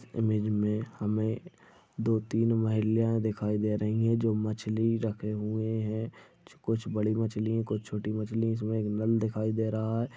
Image मे हमे दो तीन महिल्या दिखाई दे रही है। जो मछ्ली रखे हुए है कुछ बड़ी मछ्ली है। कुछ छोटी मछ्ली है। इसमे एक नल दिखाई दे रहा है।